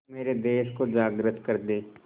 मेरे देश को जागृत कर दें